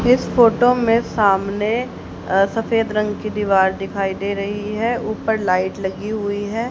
इस फोटो में सामने अ सफेद रंग की दीवार दिखाई दे रही है ऊपर लाइट लगी हुई है।